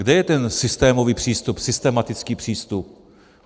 Kde je ten systémový přístup, systematický přístup?